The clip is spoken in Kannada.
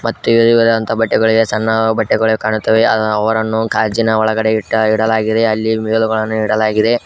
ಮತ್ತೆ ವಿಧವಿಧವಾದಂತ ಬಟ್ಟೆಗಳಿವೆ ಸಣ್ಣ ಬಟ್ಟೆಗಳು ಕಾಣುತ್ತವೆ ಅ ಅವರನ್ನು ಗಾಜಿನ ಒಳಗಡೆ ಇಟ್ಟ ಇಡಲಾಗಿದೆ ಅಲ್ಲಿ ವೇಲುಗಳನ್ನು ಇಡಲಾಗಿದೆ.